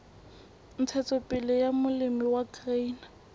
ntshetsopele ya molemi wa grain